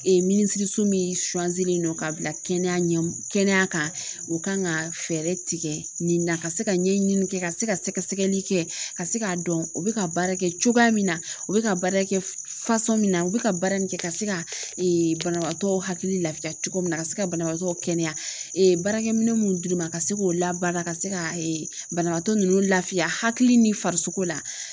minisiriso min ka bila kɛnɛya ɲɛ kɛnɛya kan o kan ka fɛrɛ tigɛ nin na, ka se ka ɲɛɲini kɛ ka se ka sɛgɛsɛgɛli kɛ ka se k'a dɔn o bɛ ka baara kɛ cogoya min na o bɛ ka baara kɛ min na u bɛ ka baara min kɛ ka se ka banabaatɔ hakili lafiya cogo min na ka se ka banabaatɔ kɛnɛya baarakɛ minɛ minnu dir'i ma ka se k'o labara ka se ka banabaatɔ ninnu lafiya hakili ni farisogo la